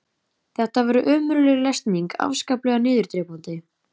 Þetta var ömurleg lesning, afskaplega niðurdrepandi.